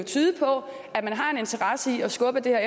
tyde på at man har en interesse i at skubbe det her